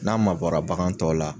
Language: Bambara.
N'a mabɔra bagan tɔw la